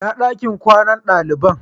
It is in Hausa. Inna ɗakin kwanan dalibain?